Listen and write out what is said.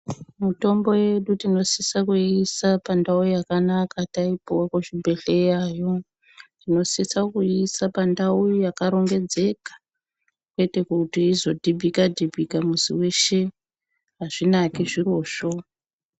Mitombo yedu tinosisa kuiisa pandau yakanaka taipuwe kuzvibhedhleyayo tinosisa kuiisa pandau yakarongedzeka kwete kuti izodhibhika dhibhika muzi weshe azvinaki zvirozvo.